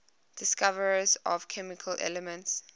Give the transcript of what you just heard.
discoverers of chemical elements